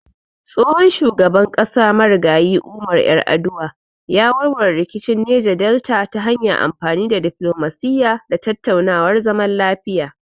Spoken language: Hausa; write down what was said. Tsohon shugaban ƙasa Marigayi Umar Yar'aduwa ya warware rikicin Neja Delta ta hanyar amfani da diflomasiyya da tattaunawar zaman lafiya.